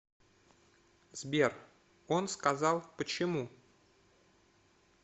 сбер он сказал почему